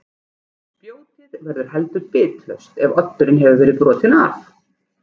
Spjótið verður heldur bitlaust ef oddurinn hefur verið brotinn af.